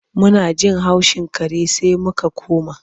Muna jin haushin kare sai muka koma.